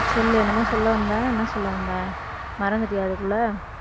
சொல்லு என்னமோ சொல்ல வந்த என்ன சொல்ல வந்த மறந்துட்டியா அதுக்குள்ள